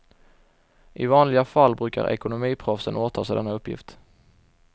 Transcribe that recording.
I vanliga fall brukar ekonomiproffsen åta sig denna uppgift.